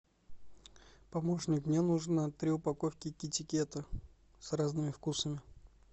помощник мне нужно три упаковки китикета с разными вкусами